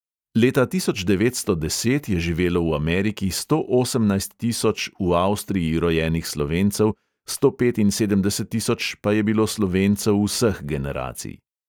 Leta tisoč devetsto deset je živelo v ameriki sto osemnajst tisoč v avstriji rojenih slovencev, sto petinsedemdeset tisoč pa je bilo slovencev vseh generacij.